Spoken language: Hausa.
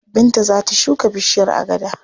Binta za ta shuka bishiyar agada.